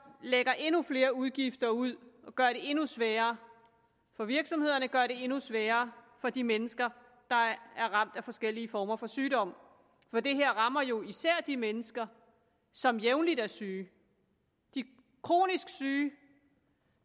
lægger endnu flere udgifter ud og gør det endnu sværere for virksomhederne gør det endnu sværere for de mennesker der er ramt af forskellige former for sygdom for det her rammer jo især de mennesker som jævnligt er syge de kronisk syge